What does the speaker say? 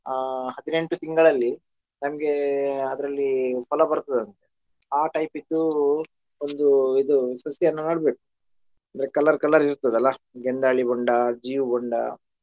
ಆ ಹದಿನೆಂಟು ತಿಂಗಳಲ್ಲಿ ನಮ್ಗೆ ಅದ್ರಲ್ಲಿ ಫಲ ಬರ್ತದೆ ಅಂತೆ ಆ type ಇದ್ದು ಒಂದು ಇದು ಸಸಿಯನ್ನು ನಡ್ಬೇಕ್ ಅಂದ್ರೆ colour colour ಇರ್ತದಲ್ಲ ಗೆಂದಾಳಿ ಬೊಂಡ ಜೀವು ಬೊಂಡ.